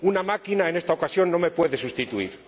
Una máquina, en esta ocasión, no me puede sustituir.